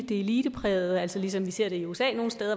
det eliteprægende ligesom vi ser det i usa